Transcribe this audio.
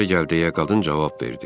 İçəri gəl deyə qadın cavab verdi.